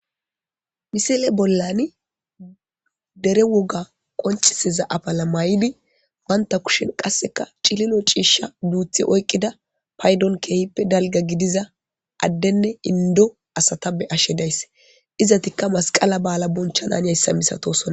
misile bollani dere woga qonciseza abala may7idi wanta kushen qasseka cililo ciisha duuthi oykqida paydon keehippe dalga gidiza addenne indo asata be ashe daysse izatikka masqala ba7ala bonchanan hayssa misatosona